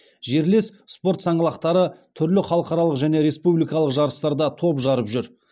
жерлес спорт саңлақтары түрлі халықаралық және республикалық жарыстарда топ жарып жүр